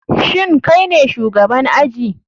Shin kaine shugaban aji?